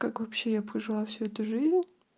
как вообще я прожила всю эту жизнь